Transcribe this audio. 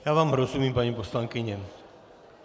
Já vám rozumím, paní poslankyně.